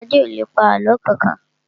Adé ò lè pa àlọ́ kankan